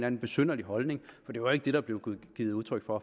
en besynderlig holdning for det var ikke det der blev givet udtryk for